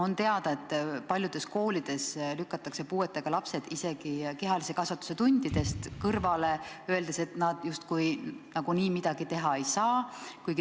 On teada, et paljudes koolides lükatakse puuetega lapsed kehalise kasvatuse tundides kõrvale, öeldes, et nad nagunii midagi teha ei saa.